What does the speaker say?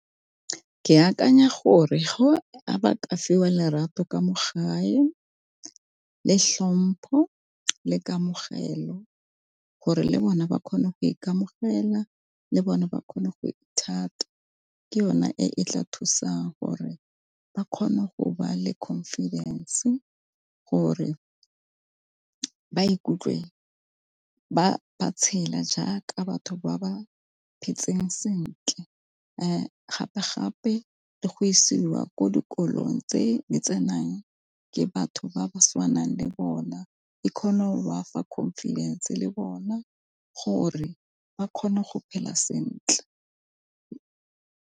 Ke akanya gore ba ka fiwa lerato ka mo gae, le tlhompho, le kamogelo gore le bone ba kgone go ikamogela le bone ba kgone go thata ke yone e e tla thusa gore ba kgone go ba le confidence gore ba ikutlwe ba ba tshela jaaka batho ba ba phetseng sentle. Gape gape le go isiwa ko dikolong tse di tsenang ke batho ba ba tshwanang le bona. E kgone go ba fa confidence le bona gore ba kgone go phela sentle.